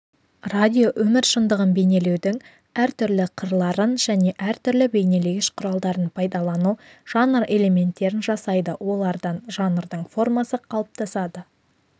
өмір шындығын бейнелеудің әртүрлі қырларын және әртүрлі бейнелегіш құралдарын пайдалану жанр элементтерін жасайды олардан жанрдың формасы қалыптасады